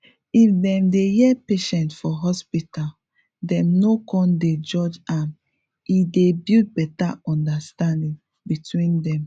if dem dey hear patient for hospital dem no con dey judge am e dey build beta understanding between dem